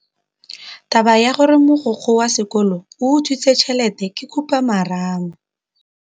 Taba ya gore mogokgo wa sekolo o utswitse tšhelete ke khupamarama.